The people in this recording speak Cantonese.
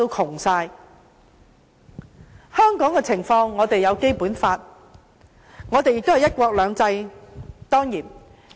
至於香港的情況，我們有《基本法》，當然亦有"一國兩制"。